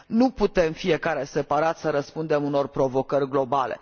Nu putem fiecare, separat, să răspundem unor provocări globale.